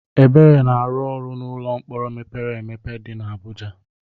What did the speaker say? Ebere na-arụ ọrụ n'ụlọ mkpọrọ mepere emepe dị n'Abuja.